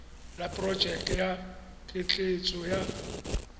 ya porojeke ya ketleetso ya